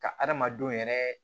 Ka hadamadenw yɛrɛ